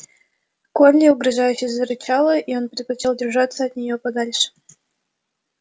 колли угрожающе зарычала и он предпочёл держаться от неё подальше